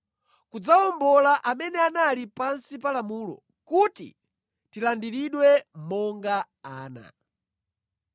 kudzawombola amene anali pansi pa lamulo, kuti tilandiridwe monga ana.